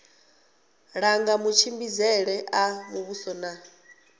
langa matshimbidzele a muvhuso na